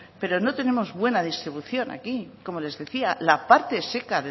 pero no tenemos buena distribución aquí como les decía la parte seca